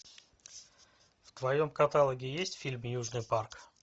в твоем каталоге есть фильм южный парк